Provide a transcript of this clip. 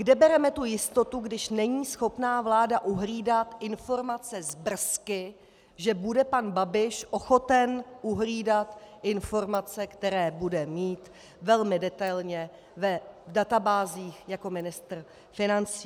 Kde bereme tu jistotu, když není schopna vláda uhlídat informace z BRS, že bude pan Babiš ochoten uhlídat informace, které bude mít velmi detailně v databázích jako ministr financí?